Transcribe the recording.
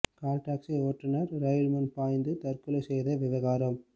கால் taxi ஓட்டுனர் ரயில் முன் பாய்ந்து தற்கொலை செய்த விவகாரம்